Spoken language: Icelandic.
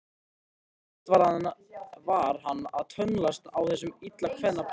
Sífellt var hann að tönnlast á þessum illa kveðna brag.